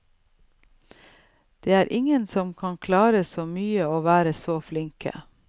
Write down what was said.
Det er ingen som kan klare så mye og være så flinke.